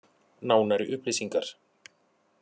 Nánari upplýsingar: